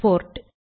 board